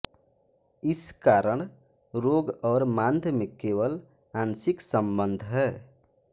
इस कारण रोग और मांद्य में केवल आंशिक संबंध है